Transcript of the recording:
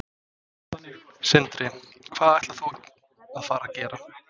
Sindri: Hvað ætlar þú að fara gera?